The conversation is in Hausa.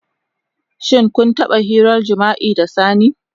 Shin kun taba hirar jima'i da sani?